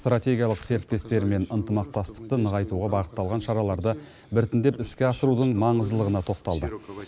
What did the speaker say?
стратегиялық серіктестерімен ынтымақтастықты нығайтуға бағытталған шараларды біртіндеп іске асырудың маңыздылығына тоқталды